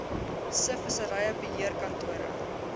se vissery beheerkantore